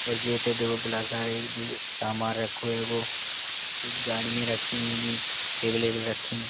जे इते देखो बिला सारे जे सामान रखो हैगों जे गाड़ियां रखी हैंगी। टेबल वेबल रखीं --